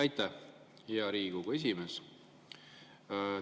Aitäh, hea Riigikogu esimees!